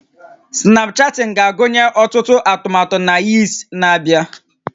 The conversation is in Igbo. Snapchatting ga-agụnye ọtụtụ atụmatụ na Yeats na-abịa